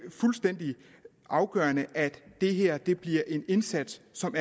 fuldstændig afgørende at det her bliver en indsats som